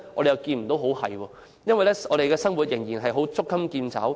似乎不能，因為我們的生活仍然捉襟見肘。